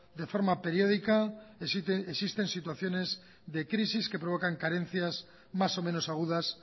de forma periódica existen situaciones de crisis que provocan carencias más o menos agudas